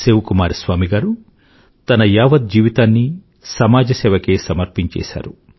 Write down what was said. శివ కుమార్ స్వామి గారు తన యావత్ జీవితాన్నీ సమాజ సేవకే సమర్పించేసారు